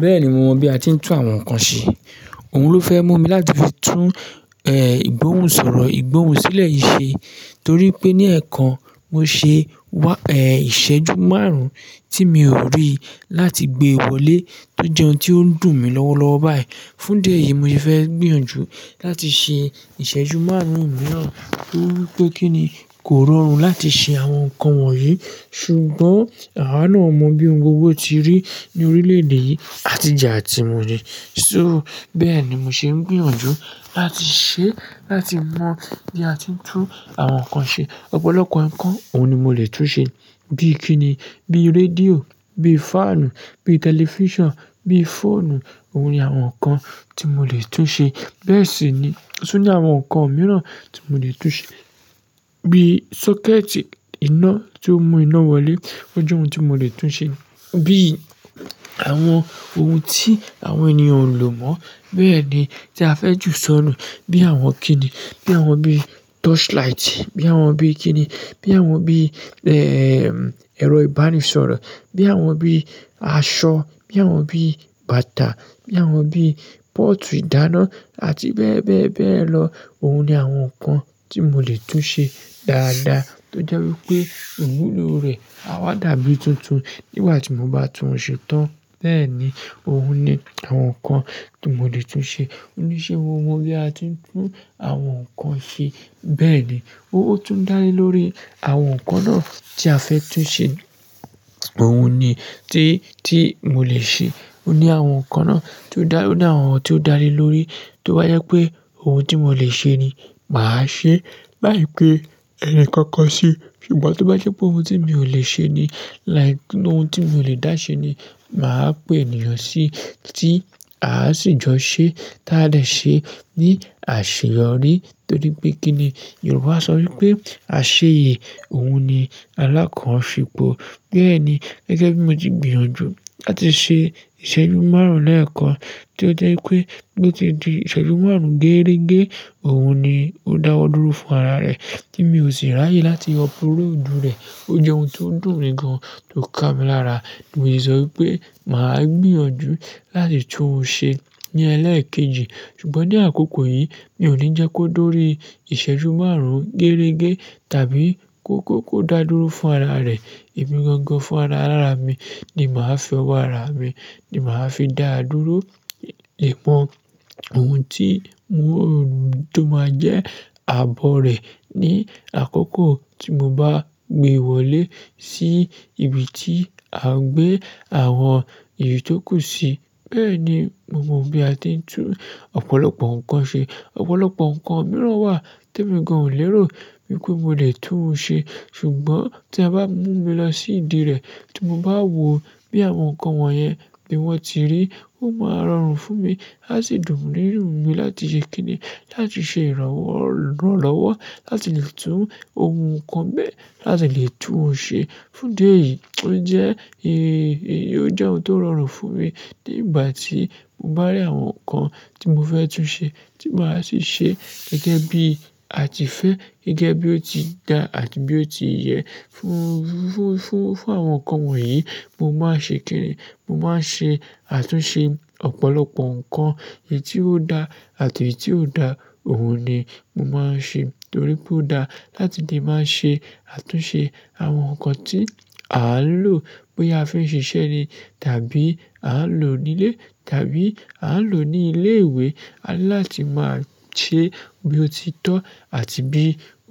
Bẹ́ẹ̀ni mo mọ bí a ti ń tún àwọn nǹkan ṣe. Òun ló fẹ́ mú mi láti fi tún, ẹ́, ìgbóhùn-sọ̀rọ̀, ìgbóhùn sílẹ̀ yìí ṣe. Torí pé ní ẹ̀ẹ̀kan mo ṣe, ẹ́, ìṣẹ́jú márùn-ún tí mi ò rí láti gbe wọlé. Tó jẹun ohun tí ó dùn mi lọ́wọ́ lọ́wọ́ báyìí. Fún idi yìí mo fi fẹ́ gbìyànjú láti ṣe ìṣẹ́jú márùn-ún mìíràn torí pé kí ni kò rọrùn láti ṣe àwọn nǹkan wọ̀nyí. Ṣùgbọ́n àwa náà mọ bí ohun gbogbo ti rí ní orílẹ̀-èdè yìí àtije atí mu ní. So bẹ́ẹ̀ ni mo ṣe ń gbìyànjú láti ṣe, láti mọ bí a ti ń tún àwọn nǹkan ṣe. Ọ̀pọ̀lọpọ̀ nǹkan òun ni mo lè tún ṣe bíi kíni, bíi rédíò, bíi fáànù, bíi tẹlifíṣàn, bíi fóònù. Ohun ni àwọn nǹkan tí mo lè tún ṣe. Bẹ́ẹ̀ sì ni. Tí ó ní àwọn nǹkan mìíràn tí mo lè tún ṣe bíi sọ́kẹ́tì iná tí ó mú iná wọlé. Ó jẹ́ ohun tí mo lè tún ṣe. Bíi àwọn ohun tí àwọn ènìyàn ń lò mọ́. Bẹ́ẹ̀ ni tí a fẹ́ ju sọ́nù bíi àwọn kíni, bí àwọn bíi tọ́ṣ-láìtì, bí àwọn bíi kíni, bí àwọn bíi, ẹ́ẹ́ẹ́, ẹ̀rọ ìbánisọ̀rọ̀, bí àwọn bíi aṣọ, bí àwọn bíi bàtà, bí àwọn bíi pọ́ọ̀tù ìdáná àti bẹ́ẹ̀ bẹ́ẹ̀ bẹ́ẹ̀ lọ. Òun ni àwọn nǹkan tí mo lè tún ṣe dáadáa tó jẹ́ wípé iwúlo rẹ̀. A wá dàbí tuntun nígbà tí mo bá tún un ṣe tán. Bẹ́ẹ̀ ni òun ni àwọn nǹkan tí mo lè tún ṣe. Ó ní ṣe mo mọ bí a ti ń tún àwọn nǹkan ṣe? Bẹ́ẹ̀ ni. Ó tún ń dá lé lórí àwọn nǹkan náà tí a fẹ́ tún ṣe. Òun ni tí, tí mo lè ṣe. Ó ní àwọn nǹkan náà tí ó dà, ó ní àwọn ohun tí ó dá lé lórí tó bá jẹ pé ohun tí mo lè ṣe ni màá ṣe. Láìpẹ́ ẹni kankan ṣe. Ṣùgbọ́n tí ó bá je pé ohun tí mi ò lè ṣe ni, like ohun tí mi ò lè dá ṣe ni, màá pè ènìyàn sí tí à á sì jọ ṣẹ́ táa dè ṣe ní àṣeyọrí. Torí pé kíni Yorùbá sọ wípé "àṣeyẹ ohun ni alákàn ṣepò". Bẹ́ẹ̀ ni gẹ́gẹ́ bí mo ti gbìyànjú láti ṣe ìṣẹ́jú márùn-ún lẹ́ẹ̀kan tí ó jẹ́ wípé bí ó ti di ìṣẹ́jú márùn-ún geerege, òun ni ó dáwọ́ dúró fún ara rẹ̀ kí sì ráyè láti uploadu rẹ̀. Ó jẹ́ ohun tó dùn mi gan, tó kà mí lára. Mo se sọ wípé màá gbìyànjú láti tún un ṣe ní ẹlẹ́ẹ̀kejì. Ṣùgbọ́n ní àkókò yìí mi ò ní jẹ́ kó dóòrí ìṣẹ́jú márùn-ún geerege tàbí kó kó, kó dà dúró fún ara rẹ̀. Emi gangan fún ara làrá mi ni màá fi wá ara mi, ni màá fi dá dúró. Ìpọ̀ ohun tí mo, tó máa jẹ́ ààbọ̀ rẹ̀ ní àkókò tí mo bá gbé wọlé sí ibi tí à ń gbé àwọn èyí tó kù sí. Bẹ́ẹ̀ ni mo mọ bí a ti ń tún ọ̀pọ̀lọpọ̀ nǹkan ṣe. Ọ̀pọ̀lọpọ̀ nǹkan mìíràn wà tí èmi gan ò lérò wípé mo lè tún un ṣe. Ṣùgbọ́n tí a bá mú mi lọ sí ìdí rẹ̀ tí mo bá wò bí àwọn nǹkan wọ̀nyẹn bí wọ́n ti rí, ó máa rọrùn fún mi. A sì dùn nínu mi láti ṣe kíni, láti ṣe ìrànwọ́ lọ́wọ́ láti lè tún ohun nǹkan bẹ́ẹ̀ láti lè tún un ṣe. Fún idi eyìí ó jẹ́, eéh, ó jẹ́ ohun tó rọrùn fún mi nígbà tí mo bá rí àwọn nǹkan tí mo fẹ́ tún ṣe tí màá sì ṣe gẹ́gẹ́ bí a ti fẹ́, gẹ́gẹ́ bí ó ti da àti bí ó ti yẹ. Fún, fún, fún, fún àwọn nǹkan wọ̀nyí mo máa ṣe kíni, mo máa ṣe, àtúnṣe ọ̀pọ̀lọpọ̀ nǹkan èyí tí ó da àti èyí tí ò da. Òun ni mo máa ṣe torí pé ó dá láti lè máa ṣe àtúnṣe àwọn nǹkan tí à ń lò bóyá a fẹ́ ṣiṣẹ́ ni tàbí à ń lò nílé tàbí à ń lò ní ilé ìwé láti máa ṣe bí ó ti tọ́ àti bí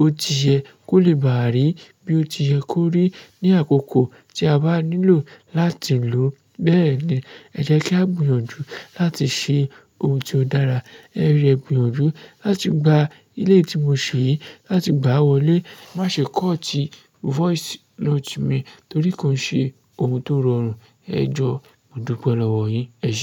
ó ti yẹ kó lè bàrí bí ó ti yẹ kó rí ní àkókò tí a bá nílò láti lò ó. Bẹ́ẹ̀ ni ẹ jẹ́ kí a gbìyànjú láti ṣe ohun tí ó dára. Ẹ rí ẹ gbìyànjú láti gba ilé tí mo ṣe yìí láti gbáa wọlé. Má ṣe kọ̀ tíí, voice note mi torí kò ń ṣe ohun tó rọrùn. Ẹ jọ, mo dúpẹ́ lọ́wọ́ yín. Ẹṣẹ.